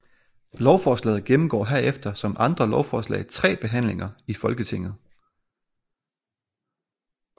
Lovforslaget gennemgår herefter som andre lovforslag tre behandlinger i Folketinget